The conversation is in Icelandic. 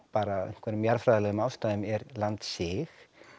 bara af einhverjum jarðfræðilegum ástæðum landsig